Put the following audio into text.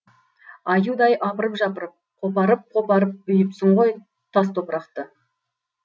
аюдай апырып жапырып қопарып қопарып үйіпсің ғой тас топырақты